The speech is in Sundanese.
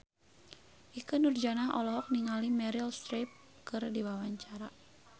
Ikke Nurjanah olohok ningali Meryl Streep keur diwawancara